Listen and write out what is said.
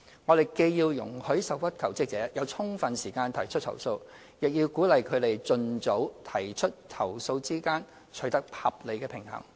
我們既要容許受屈求職者有充分時間提出投訴，亦要鼓勵他們盡早提出投訴，兩者之間須取得合理平衡。